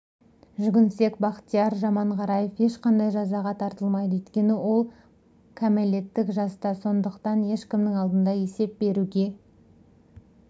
жүгінсек бақтияр жаманғараев ешқандай жазаға тартылмайды өйткені ол кәметелеттік жаста сондықтан ешкімнің алдында есеп беруге